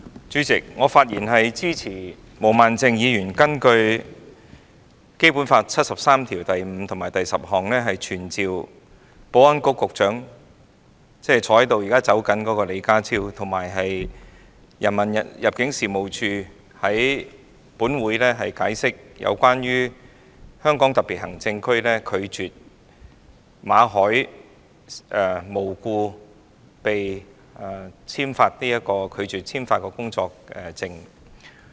主席，我發言支持毛孟靜議員根據《基本法》第七十三條第五項及第十項動議的議案，傳召現時正準備離開會議廳的保安局局長李家超，以及入境事務處處長，到本會解釋香港特別行政區無故拒絕向馬凱先生簽發工作證一事。